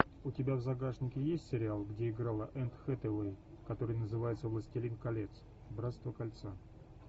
у тебя в загашнике есть сериал где играла энн хэтэуэй который называется властелин колец братство кольца